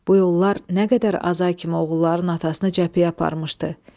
Bu yollar nə qədər Azay kimi oğulların atasını cəbhəyə aparmışdı.